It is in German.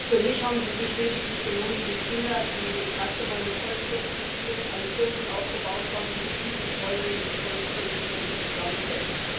Für mich haben sie sich lediglich wie Kinder benommen, die das erste Mal mit Holzklötzchen spielen, ein Türmchen aufgebaut haben und sich diebisch freuen, wenn dieses Holztürmchen in sich zusammenfällt.